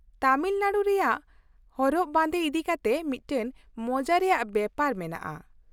ᱛᱟᱹᱢᱤᱞᱱᱟᱹᱲᱩ ᱨᱮᱭᱟᱜ ᱦᱚᱨᱚᱜ ᱵᱟᱸᱫᱮ ᱤᱫᱤᱠᱟᱛᱮ ᱢᱤᱫᱴᱟᱝ ᱢᱚᱡᱟ ᱨᱮᱭᱟᱜ ᱵᱮᱯᱟᱨ ᱢᱮᱱᱟᱜᱼᱟ ᱾